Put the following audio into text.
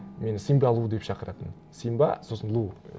мені симба лу деп шақыратын симба сосын лу